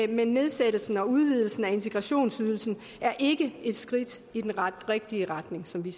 med nedsættelsen og udvidelsen af integrationsydelsen er ikke et skridt i den rigtige retning som vi